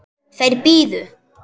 Þær biðu.